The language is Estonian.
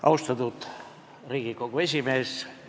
Austatud Riigikogu esimees!